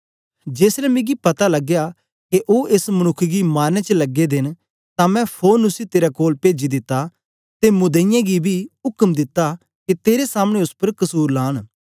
जेसलै मिकी पता लगया के ओ एस मनुक्ख गी मारनें च लगे दे न तां मैं फोरन उसी तेरे कोल पेजी दिता ते मुदईयें गी बी उक्म दित्ता के तेरे सामने ओस उपर कसुर लान